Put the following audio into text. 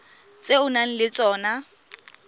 tse o nang le tsona